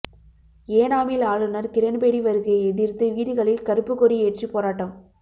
ஏனாமில் ஆளுநர் கிரண்பேடி வருகையை எதிர்த்து வீடுகளில் கறுப்புக்கொடி ஏற்றி போராட்டம்